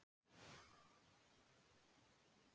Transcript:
Prestar og lögmenn eiga sér svipaða lögverndun.